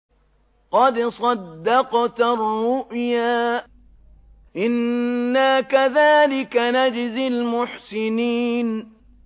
قَدْ صَدَّقْتَ الرُّؤْيَا ۚ إِنَّا كَذَٰلِكَ نَجْزِي الْمُحْسِنِينَ